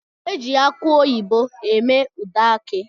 Eji akụ oyibo eme ude aki